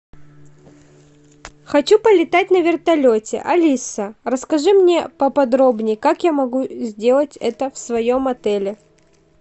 хочу полетать на вертолете алиса расскажи мне поподробнее как я могу сделать это в своем отеле